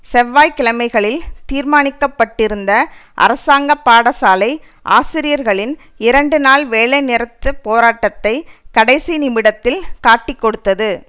செவ்வாய் கிழமைகளில் தீர்மானிக்க பட்டிருந்த அரசாங்க பாடசாலை ஆசிரியர்களின் இரண்டு நாள் வேலை நிறுத்த போராட்டத்தை கடைசி நிமிடத்தில் காட்டிக்கொடுத்தது